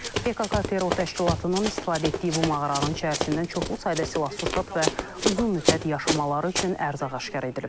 PKK terror təşkilatının istifadə etdiyi bu mağaranın içərisindən çoxlu sayda silah-sursat və uzun müddət yaşamaları üçün ərzaq aşkar edilib.